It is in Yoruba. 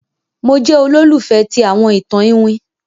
Mo jẹ olólùfẹ̀ ti àwọn itan Iwin.